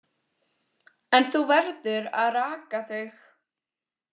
En þú verður að raka þig.